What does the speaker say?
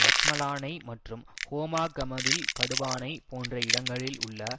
ரத்மலானை மற்றும் ஹோமாகமவில் கடுவானை போன்ற இடங்களில் உள்ள